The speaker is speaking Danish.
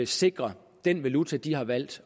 sikre den valuta de har valgt